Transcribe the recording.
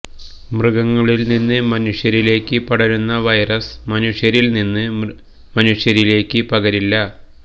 മൃഗങ്ങളില് നിന്ന് മനുഷ്യരിലേക്ക് പടരുന്ന വൈറസ് മനുഷ്യരില് നിന്ന് മനുഷ്യരിലേക്ക് പകരില്ല